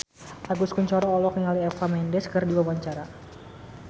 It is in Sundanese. Agus Kuncoro olohok ningali Eva Mendes keur diwawancara